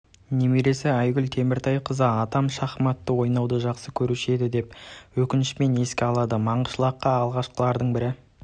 немересі айгуль теміртайқызы атам шахматты ойнауды жақсы көруші еді деп өкінішпен еске алады манғышлаққа алғашқылардың бірі